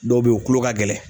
Dɔw bɛ yen u kulo ka gɛlɛn.